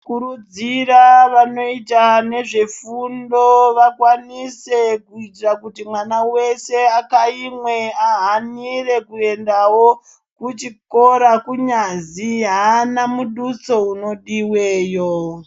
Kukurudzira vanoita nezvefundo vakwanise kuitira kuti mwana wese akayimwe ahanire kuyendawo kuchikora kunyazi aana muduso unodiweyo.